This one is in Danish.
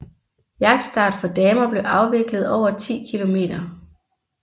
Jagtstart for damer blev afviklet over 10 km